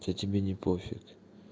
то тебе не пофиг